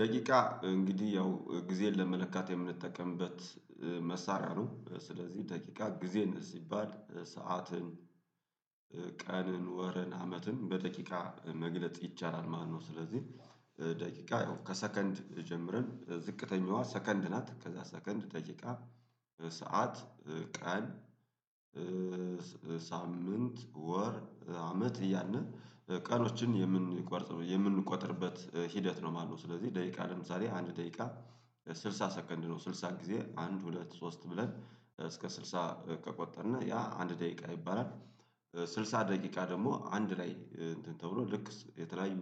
ደቂቃ እንግዲህ ያው ጊዜን ለመለካት የምንጠቀምበት መሳሪያ ነው። ስለዚህ ደቂቃ ጊዜን እዚህ ይባል ሰዓትን ቀንን ወረን አመትን በደቂቃ መግለጽ ይቻላል። ማነው ስለዚህ ደቂቃ ያው ከሰከንድ ጀምረን ዝቅተኛዋ ሰከንድ ናት። ከዛ ሰከንድ ደቂቃ ሰዓት ቀን ሳምንት ወር አመት እያልን ቀኖችን የምንቆጥርበት ሂደት ነው ማለት ነው። ስለዚህ ደቂቃ ለምሳሌ አንድ ደቂቃ ስልሳ ሰከንድ ነው። ስልሳ ጊዜ አንድ ሁለት ሶስት ብለን እስከ ስልሳ ከቆጠርን ያ አንድ ደቂቃ ይባላል። ስልሳ ደቂቃ ደግሞ አንድ ላይ እንትን ተብሎ ልክ የተለያዩ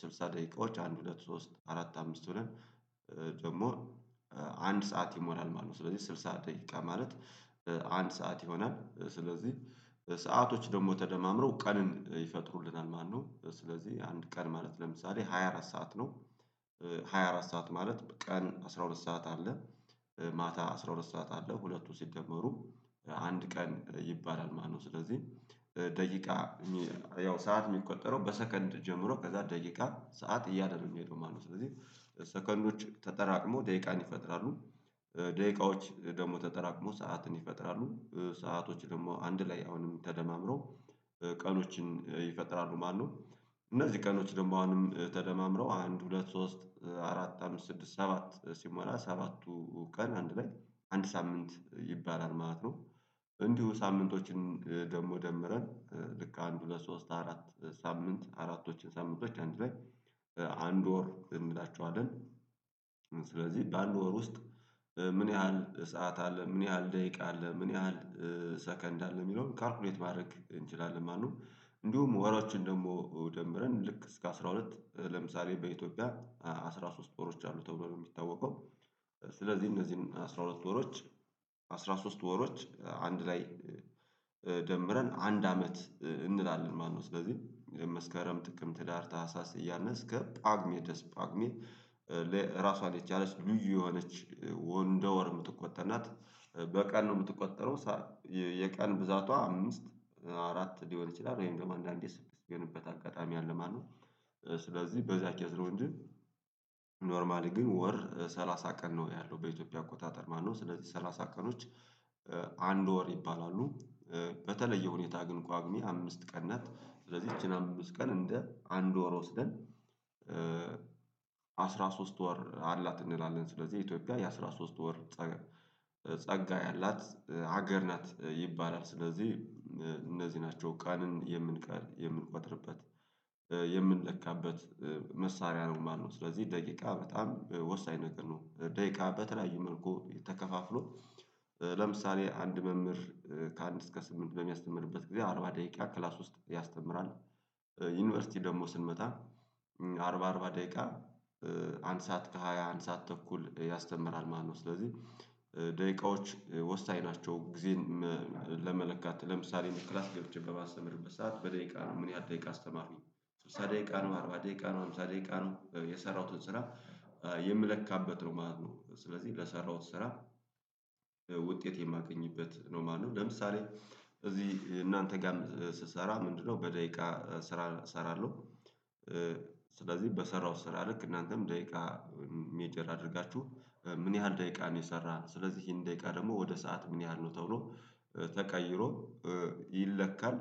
ስልሳ ደቂቃዎች አንድ ሁለት ሶስት አራት አምስት ብለን ደግሞ አንድ ሰዓት ይሞላል ማለት ነው። ስለዚህ ስልሳ ደቂቃ ማለት አንድ ሰዓት ይሆናል። ስለዚህ ሰአቶች ደግሞ ተደማምረው ቀንን ይፈጥሩልናል። ማነው ስለዚህ አንድ ቀን ማለት ለምሳሌ ሃያ አራት ሰዓት ነው። ሃያ አራት ሰዓት ማለት ቀን አስራ ሁለት ሰዓት አለ ማታ አስራ ሁለት ሰዓት አለ ሁለቱም ሲደመሩ አንድ ቀን ይባላል ማለት ነው። ስለዚህ ደቂቃ ያው ሰዓት የሚቆጠረው በሰከንድ ጀምሮ ከዛ ደቂቃ ሰዓት እያደረጉ ሲሄዱ ማለት ነው። ስለዚህ ሰከንዶች ተጠራቅሞ ደቂቃን ይፈጥራሉ። ደቂቃዎች ደግሞ ተጠራቅመው ሰዓትን ይፈጥራሉ ሰአቶች ደግሞ አንድ ላይ አሁንም ተደማምረው ቀኖችን ይፈጥራሉ ማለት ነው። እነዚህ ቀኖች ደግሞ አሁንም ተደማምረው አንድ ሁለት ሶስት አራት አምስት ስድስት ሰባት ሲሞላ ሰባቱ ቀን አንድ ላይ አንድ ሳምንት ይባላል ማለት ነው። እንዲሁ ሳምንቶችን ደግሞ ደምረን ልክ አንድ ሁለት ሶስት አራት ሳምንት አራቶችን ሳምንቶች አንድ ላይ ወር እንላቸዋለን። ስለዚህ በአንድ ወር ውስጥ ምን ያህል ሰዓት አለ ምን ያህል ደቂቃ አለ ምን ያህል ሰከንድ አለ? የሚለውን ካልኩሌት ማድረግ እንችላለን ማለት ነው። እንዲሁም ወሮችን ደግሞ ደምረን ልክ እስከ አስራ ሁለት ለምሳሌ በኢትዮጵያ አስራ ሶስት ወሮች አሉ ተብሎ ነው የሚታወቀው። ስለዚህ እነዚህን አስራ ሁለት ወሮች አስራ ሶስት ወሮች አንድ ላይ ደምረን አንድ አመት እንላለን ማለት ነው። ስለዚህ መስከረም ጥቅምት ህዳር ታህሳስ እያልን እስከ ጳጉሜ ድረስ ጳጉሜ ለራሷ ላይ የቻለች ልዩ የሆነች እንደወር የምትቆጠር ናት። በቀን ነው የምትቆጠረው። የቀን ብዛቷ አምስት አራት ሊሆን ይችላል ወይም ደግሞ አንድ አንድ ስድስት ሚሆንበት አጋጣሚ አለ ማለት ነው። ስለዚህ በዛ ኬዝ ነው እንጂ ኖርማሊ ግን ወር ሰላሳ ቀን ነው ያለው በኢትዮጵያ አቆጣጠር ማለት ነው። ስለዚህ ሰላሳ ቀኖች አንድ ወር ይባላሉ። በተለየ ሁኔታ ግን ጳጉሜ አምስት ቀን ናት ስለዚህ ይቺን አምስት ቀን እንደ አንድ ወር ወስደን አስራ ሶስት ወር አልናት እንላለን። ስለዚህ ኢትዮጵያ የአሥራ ሶስት ወር ጸጋ ያላት ሀገር ናት ይባላል። ስለዚህ እነዚህ ናቸው ቀንን የምንቆጥርበት የምንለካበት መሳሪያ ነው ማለት ነው። ስለዚህ ደቂቃ በጣም ወሳኝ ነገር ነው። ደቂቃ በተለያየ መልኩ ተከፋፍሎ ለምሳሌ አንድ መምህር ከአንድ እስከ ስምንት በሚያስተምርበት ጊዜ አርባ ደቂቃ ክላስ ውስጥ ያስተምራል። ዩኒቨርሲቲ ደግሞ ስንመጣ አርባ አርባ ደቂቃ አንድ ሰዓት ከሃያ አንድ ሰዓት ተኩል ያስተምራል ማለት ነው። ስለዚህ ደቂቃዎች ወሳኝ ናቸው። ጊዜን ለመለካት ለምሳሌ ክላስ ገብቼ በማስተምርበት ሰዓት በደቂቃ ነው ምን ያህል ደቂቃ አስተማርኩኝ ስልሳ ደቂቃ ነው አርባ ደቂቃ ነው አምሳ ደቂቃ ነው የሰራሁትን ስራ የምለካበት ነው ማለት ነው። ስለዚህ ለሰራሁት ስራ ውጤት የማገኝበት ነው ማለት ነው። ለምሳሌ እዚህ እናንተ ጋር ስሰራ ምንድነው? በደቂቃ ስራ እሰራለሁ። ስለዚህ በሰራውት ስራ ልክ እናንተም ደቂቃ ሜጀር አድርጋችሁ ምን ያህል ደቂቃ ነው? የሰራው ስለዚህ ይሄን ደቂቃ ደግሞ ወደ ሰዓት ምን ያህል ነው ተብሎ ተቀይሮ ይለካል።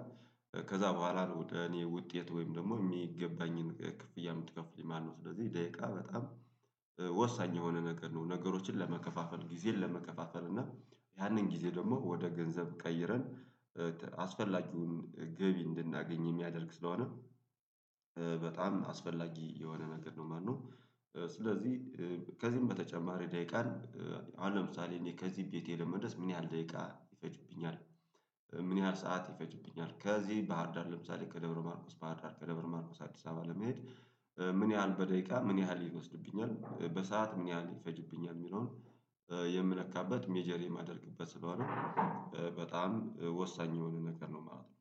ከዛ በኋላ ነው ወደ እኔ ውጤት ወይም ደግሞ የሚገባኝን ክፍያ የምትከፍሉኝ ማለት ነው። ስለዚህ ደቂቃ በጣም ወሳኝ የሆነ ነገር ነው። ነገሮችን ለመከፋፈል ጊዜን ለመከፋፈል እና ያንን ጊዜ ደግሞ ወደ ገንዘብ ቀይረን አስፈላጊውን ገቢ እንድናገኝ የሚያደርግ ስለሆነ በጣም አስፈላጊ የሆነ መንገድ ነው ማለት ነው። ከዚህም በተጨማሪ ደቂቃን አሁን ለምሳሌ እኔ ከዚህ ቤቴ ለመድረስ ምን ያህል ደቂቃ ይፈጅብኛል? ምን ያህል ሰዓት ይፈጅብኛል? ከዚህ ባህርዳር ለምሳሌ ከደብረ ማርጎስ ባህርዳር ከደብረ ማርቆስ አዲስ አበባ ለመሄድ ምን ያህል በደቂቃ ምን ያህል ይወስድብኛል? በሰአት ምን ያህል ይፈጅብኛል? የሚለውን የምለካበት ሜጀር የማደርግበት ስለሆነ በጣም ወሳኝ የሆነ ነገር ነው ማለት ነው።